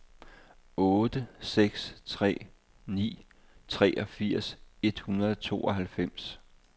otte seks tre ni treogfirs et hundrede og tooghalvfems